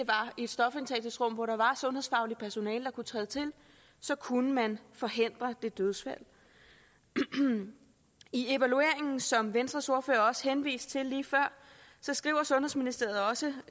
i et stofindtagelsesrum hvor der var sundhedsfagligt personale der kunne træde til så kunne man forhindre det dødsfald i evalueringen som venstres ordfører også henviste til lige før skriver sundhedsministeriet også